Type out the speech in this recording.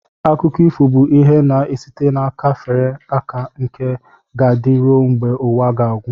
Akụkọ ifo bụ ihe na-esite n'aka fere aka nke ga-adị ruo mgbe ụwa ga-agwụ